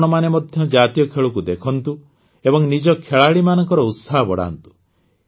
ଆପଣମାନେ ମଧ୍ୟ ଜାତୀୟ ଖେଳକୁ ଦେଖନ୍ତୁ ଏବଂ ନିଜ ଖେଳାଳିମାନଙ୍କର ଉତ୍ସାହ ବଢ଼ାନ୍ତୁ